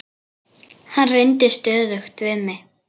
Hann reyndi stöðugt við mig.